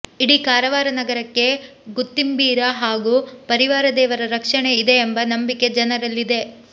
ಇಡೀ ಕಾರವಾರ ನಗರಕ್ಕೆ ಗುತ್ತಿಂಬೀರ ಹಾಗೂ ಪರಿವಾರ ದೇವರ ರಕ್ಷಣೆ ಇದೆ ಎಂಬ ನಂಬಿಕೆ ಜನರಲ್ಲಿದೆ